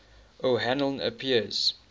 o hanlon appears